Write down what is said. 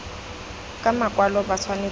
ka makwalo ba tshwanetse go